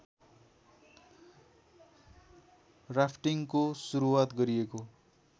राफ्टिङको सुरुआत गरिएको